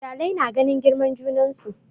Iyalai na ganin girman junansu